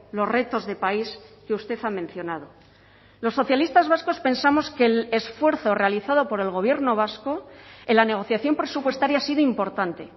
los retos de país que usted ha mencionado los socialistas vascos pensamos que el esfuerzo realizado por el gobierno vasco en la negociación presupuestaria ha sido importante